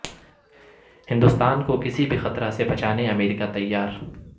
ہندوستان کو کسی بھی خطرہ سے بچانے امریکہ تیار